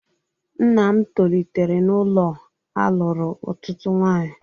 Nna m tolitere n'ụlọ a alụrụ otutu nwanyị